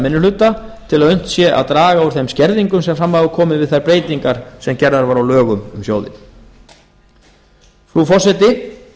hluta til að unnt sé að draga úr þeim skerðingum sem fram hafa komið við þær breytingar sem gerðar voru á lögum um sjóðinn frú forseti